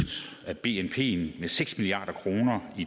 af bnp med seks milliard kroner i